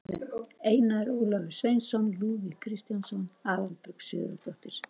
Einar Ólafur Sveinsson, Lúðvík Kristjánsson, Aðalbjörg Sigurðardóttir